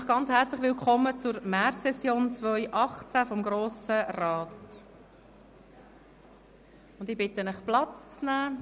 Ich heisse Sie herzlich willkommen zur Märzsession 2018 des Grossen Rats und bitte Sie, Platz zu nehmen.